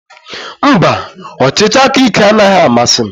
Mba, ọchịchị aka ike anaghị amasị m.